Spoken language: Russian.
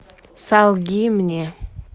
солги мне